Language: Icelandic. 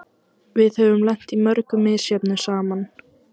Við höfum lent í mörgu misjöfnu saman.